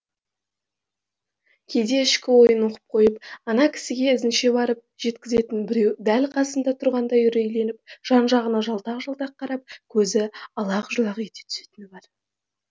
кейде ішкі ойын оқып қойып ана кісіге ізінше барып жеткізетін біреу дәл қасында тұрғандай үрейленіп жан жағына жалтақ жалтақ қарап көзі алақ жұлақ ете түсетіні бар